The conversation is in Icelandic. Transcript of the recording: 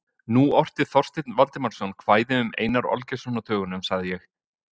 Nú orti Þorsteinn Valdimarsson kvæði um Einar Olgeirsson á dögunum, sagði ég.